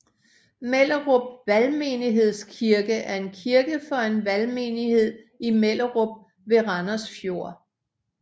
Mellerup Valgmenighedskirke er en kirke for en valgmenighed i Mellerup ved Randers Fjord